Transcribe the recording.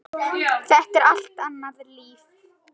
Þetta er allt annað líf.